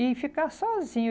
E ficar sozinho.